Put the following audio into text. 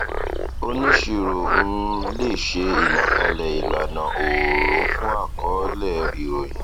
oníṣirò um lè ṣe ìlàkalẹ ìlànà òòró fún àkọọlẹ ìròyìn